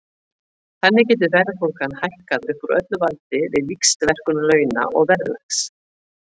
Þannig getur verðbólgan hækkað upp úr öllu valdi við víxlverkun launa og verðlags.